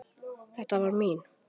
Þetta var mín.